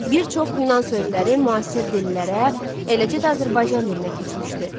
Bir çox yunan sözləri müasir dillərə, eləcə də Azərbaycan dilinə keçmişdi.